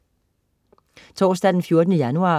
Torsdag den 14. januar